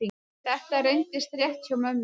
Þetta reyndist rétt hjá mömmu.